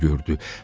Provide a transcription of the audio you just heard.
gördü.